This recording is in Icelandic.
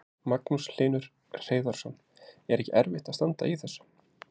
Magnús Hlynur Hreiðarsson: Er ekki erfitt að standa í þessu?